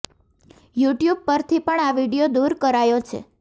you tube પરથી પણ આ વીડિયો દૂર કરાયો છે